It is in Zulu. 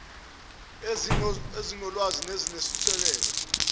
kwezingxoxo ezinolwazi nezinesisekelo